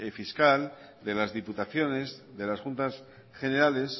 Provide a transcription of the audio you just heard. fiscal de las diputaciones de las juntas generales